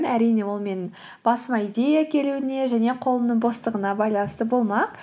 әрине ол менің басыма идея келуіне және қолымның бостығына байланысты болмақ